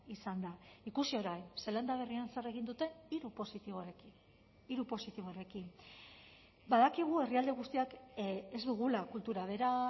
izan da ikusi orain zeelanda berrian zer egin dute hiru positiborekin hiru positibo horrekin badakigu herrialde guztiak ez dugula kultura bera